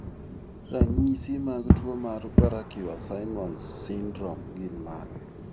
Ranyisi mag tuwo mar Barraquer Simons syndrome gin mage?